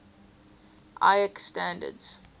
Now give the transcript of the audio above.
iec standards